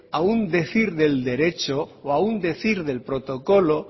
a un decir del derecho o a un decir del protocolo